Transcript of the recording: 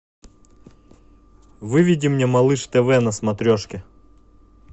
выведи мне малыш тв на смотрешке